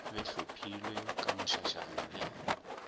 be hlophilwe ka mošašana le